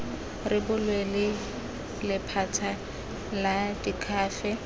rebolwe ke lephata la diakhaefe